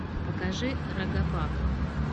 покажи рогопак